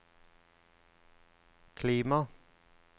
klima